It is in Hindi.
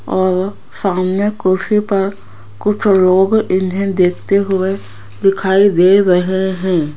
और सामने कुर्सी पर कुछ लोग इन्हें देखते हुए दिखाई दे रहे हैं।